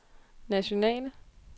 nationale